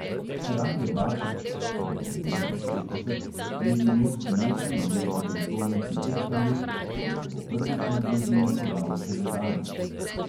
Rade bačič (do devetinšestdeset) je imel sinoči v ruski prestolnici tehtanje, tako da se bo prvič na blazine podal šele danes.